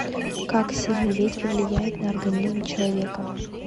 как сильный ветер влияет на организм человека